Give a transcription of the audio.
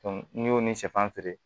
n'i y'o ni sɛfan feere